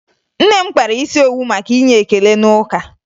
Nne m kpara isi owu maka inye ekele n'ụka